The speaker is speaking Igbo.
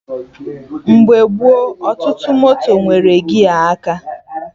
Mgbe gboo, ọtụtụ moto nwere gia aka